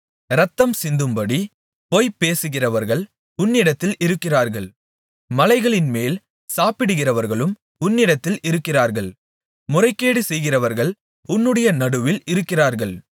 இரத்தம்சிந்தும்படி பொய் பேசுகிறவர்கள் உன்னிடத்தில் இருக்கிறார்கள் மலைகளின்மேல் சாப்பிடுகிறவர்களும் உன்னிடத்தில் இருக்கிறார்கள் முறைகேடு செய்கிறவர்கள் உன்னுடைய நடுவில் இருக்கிறார்கள்